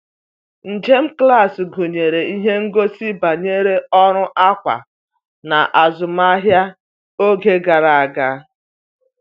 Njem klaasị gụnyere ihe ngosi banyere ọrụ akwa n'azụmahịa oge gara aga.